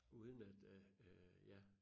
Uden at at øh ja